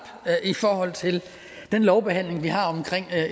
i forhold til den lovbehandling vi har om